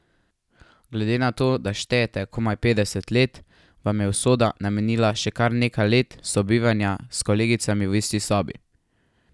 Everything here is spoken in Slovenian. Glede na to, da štejete komaj petdeset let, vam je usoda namenila še kar nekaj let sobivanja s kolegicami v isti sobi.